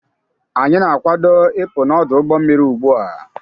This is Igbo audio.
Anyị na-akwado ịpụ n'ọdụ ụgbọ mmiri ugbu a.